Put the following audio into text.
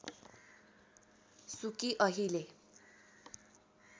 सुकी अहिले